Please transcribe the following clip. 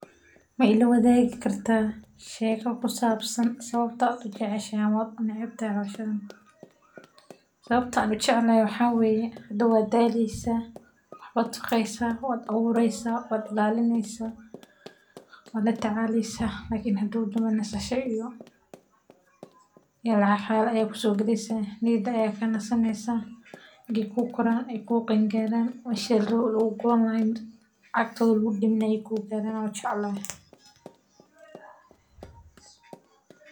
Ma ilawadaagi kartaa sheeko ku saabsan sababta aad u jeceshahay ama u neceb tahay hawshan, sawabtan u jecelehe waxaa wayee hortaa waa daleysaa, waxba taqeysaa, waa awureysaa, waad ilalineysaa, waa latacaleysaa lkn hadow danbee nisasha iyo lacaag xaal aya kusogaleysaa, niyada aya ka nasaneysaa; ege ku karan o ku qeen garan meshi lagu guran lahay mirtaa agtoda lagu daminaye ee ku garan wan jeclahay.